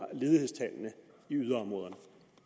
yderområderne